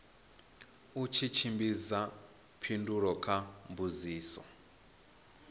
u tshimbidza phindulo kha mbudziso